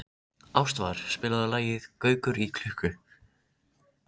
Ég lofa því að ég mun aldrei bregðast þér.